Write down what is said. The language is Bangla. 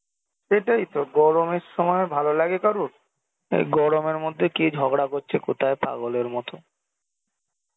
সেটাই তো গরমের সময় ভালো লাগে কারুর? এই গরমের মধ্যে কে ঝগড়া করছে কোথায় পাগলের মতো